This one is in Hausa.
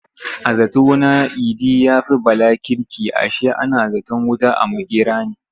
A zato na Idi ya fi Bala kirki ashe ana zaton wuta a makera ne.